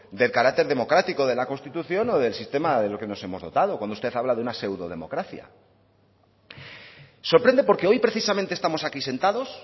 del carácter democrático de la constitución o del sistema del que nos hemos dotado cuando usted habla de una pseudodemocracia sorprende porque hoy precisamente estamos aquí sentados